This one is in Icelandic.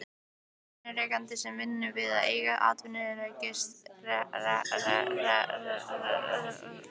Atvinnurekendum sem vinna að eigin atvinnurekstri í öðrum atvinnugreinum.